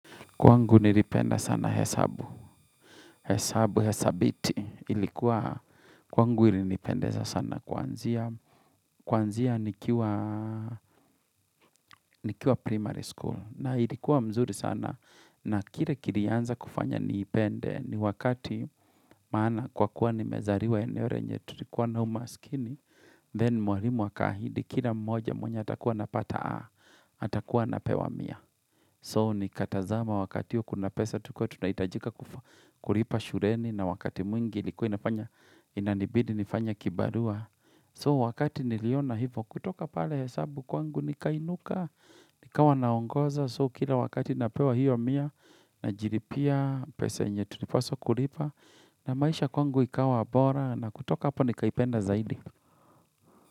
Kwangu nilipenda sana hesabu, hesabu, hesabiti ilikuwa, kwangu ilinipendeza sana kwanzia, kwanzia nikiwa, nikiwa primary school na ilikuwa mzuri sana na kile kilianza kufanya niipende ni wakati maana kwa kuwa ni mezariwa eneo re yenye tulikuwa na umaskini, then mwalimu akaahidi kila mmoja mwenye atakuwa anapata A, atakuwa anapewa mia. So ni katazama wakati huo kuna pesa tukuwe tunahitajika kulipa shuleni na wakati mwingi ilikuwa inanibidi nifanye kibarua. So wakati niliona hivo kutoka pale hesabu kwangu ni kainuka, nikawa naongoza. So kila wakati napewa hiyo mia na najiripia pesa yenye tulipaswa kulipa na maisha kwangu ikawa abora na kutoka hapa nikaipenda zaidi.